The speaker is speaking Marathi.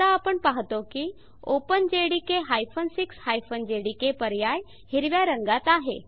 आता आपण पाहतो की openjdk 6 जेडीके पर्याय हिरव्या रंगात आहे